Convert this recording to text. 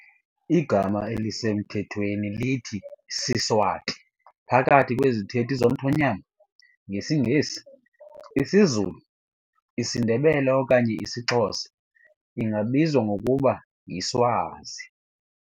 Igama elisemthethweni lithi "siSwati" phakathi kwezithethi zomthonyama, ngesiNgesi, isiZulu, isiNdebele okanye isiXhosa ingabizwa ngokuba yiSwazi.